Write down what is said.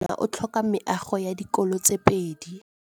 Motse warona o tlhoka meago ya dikolô tse pedi.